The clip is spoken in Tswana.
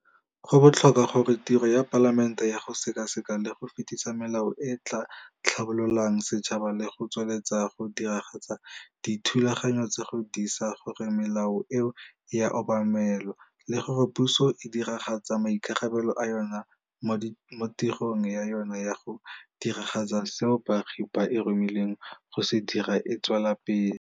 Go botlhokwa gore tiro ya Palamente ya go sekaseka le go fetisa melao e e tla tlhabololang setšhaba le go tswelela go diragatsa dithulaganyo tsa go disa gore melao eo e a obamelwa le gore puso e diragatsa maikarabelo a yona mo tirong ya yona ya go diragatsa seo baagi ba e romileng go se dira e tswela pele.